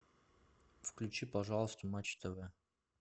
включи пожалуйста матч тв